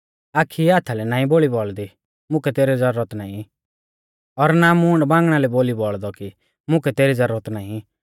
आखी हाथा लै ना बोली बौल़दी मुकै तेरी ज़रूरत नाईं और ना मूंड बांगणा लै बोली बौल़दौ कि मुकै तेरी ज़रूरत नाईं